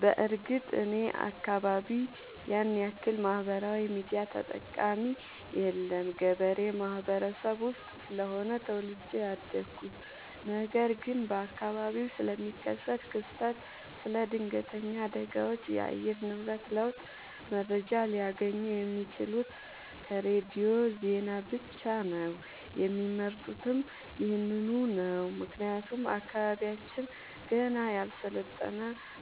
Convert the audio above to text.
በርግጥ እኔ አካባቢ ያንያክል ማህበራዊ ሚዲያ ተጠቀሚ የለም ገበሬ ማህበረሰብ ውስጥ ስለሆነ ተወልጄ ያደኩት ነገር ግን በአካባቢው ስለሚከሰት ክስተት ስለ ድነገተኛ አደጋዎች የአየር ንብረት ለውጥ መረጃ ሊያገኙ የሚችሉት ከሬዲዮ ዜና ብቻ ነው የሚመርጡትም ይህንኑ ነው ምክንያቱም አካባቢያችን ገና ያልሰለጠነ